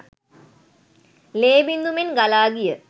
ලේ බිංදු මෙන් ගලා ගිය